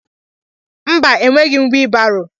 Mba, enweghị m wiibaro.